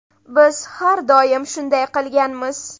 Biz har doim shunday qilganmiz.